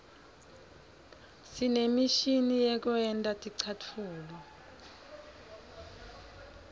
sinemishini yekwenta ticatfulo